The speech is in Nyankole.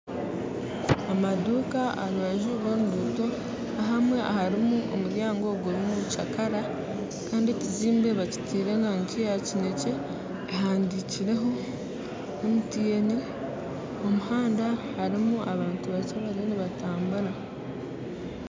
Amanduuka aha rubanju rw'orunguto ahamwe harimu omuryango gurimu kyakaara kandi ekizimbe bakitaire erangi yakinekye ehandiikirweho MTN omu muhanda harimu abantu bakye barimu nibatambura